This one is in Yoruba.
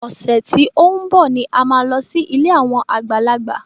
Ọ̀sẹ̀ tí ó ń bọ̀ ni a máa lọ sí ilé àwọn àgbàlagbà.